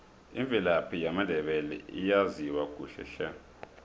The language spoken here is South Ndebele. imvelaphi yamandebele ayaziwa kuhle hle